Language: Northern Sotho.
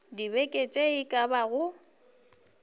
dibeke tše e ka bago